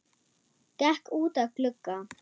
Gekk út að glugga.